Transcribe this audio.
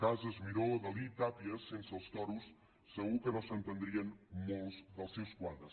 casas miró dalí tàpies sense els toros segur que no s’entendrien molts dels seus quadres